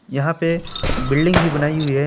यहां पे बिल्डिंग भी बनाई हुई है।